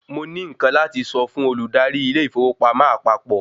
Mo ní nkán láti sọ fún olùdarí ilé ìfowópamọ́ àpapọ̀